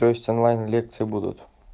то есть онлайн лекции будут